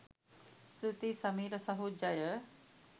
ස්තුතියි සමීර සහො ජය